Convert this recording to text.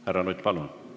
Härra Nutt, palun!